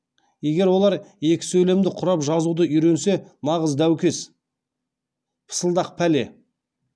егер олар екі сөйлемді құрап жазуды үйренсе нағыз дәукес пысылдақ пәле